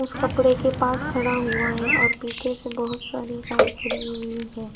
उस कपड़े के पास खड़ा हुआ है और पीछे से बहुत सारी बाइक खड़ी हुई है।